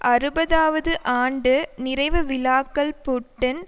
அறுபதாவது ஆண்டு நிறைவு விழாக்கள் புட்டின்